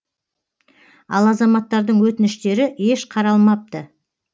ал азаматтардың өтініштері еш қаралмапты